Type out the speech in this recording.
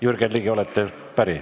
Jürgen Ligi, olete päri?